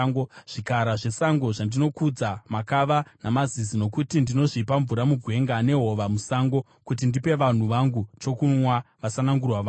Zvikara zvesango zvinondikudza, makava namazizi, nokuti ndinozvipa mvura mugwenga nehova musango, kuti ndipe vanhu vangu chokunwa, vasanangurwa vangu,